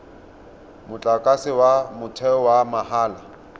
motlakase wa motheo wa mahala